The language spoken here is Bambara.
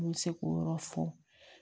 N bɛ se k'o yɔrɔ fɔ